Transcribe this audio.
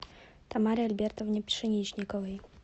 тамаре альбертовне пшеничниковой